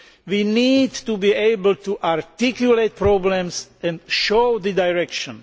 We need to be able to articulate problems and show the direction.